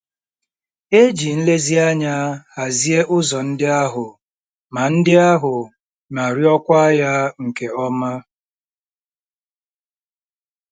E ji nlezianya hazie ụzọ ndị ahụ ma ndị ahụ ma rụọkwa ya nke ọma.